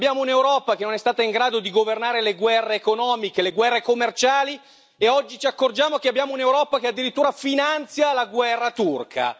Abbiamo un'Europa che non è stata in grado di governare le guerre economiche, le guerre commerciali e oggi ci accorgiamo che abbiamo un'Europa che addirittura finanzia la guerra turca.